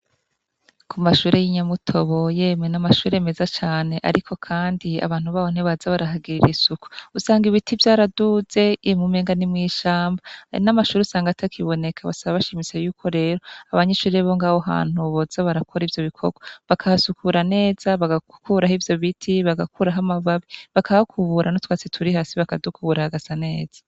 Kumashure y'inyamutobo yemwe n'amashure meza cane ariko kandi abantu baho ntibaza barahagira isuku usanga ibiti vyaraduze umenga nimwishamba n'amashure usanga atakiboneka. Basaba bashimitse yuko rero abanyeshure bongaho hantu boza barakora ivyo bikorwa bakasukura neza bagakuraho ivyobiti, bagakuraho amababi, bakahakubura n'utwatsi turi hasi bakadukura hagasa neza.